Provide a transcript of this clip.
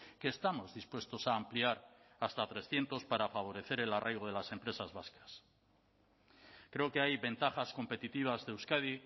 que estamos dispuestos a ampliar hasta trescientos para favorecer el arraigo de las empresas vascas creo que hay ventajas competitivas de euskadi